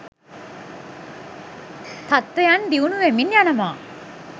තත්ත්වයන් දියුණුවෙමින් යනවා.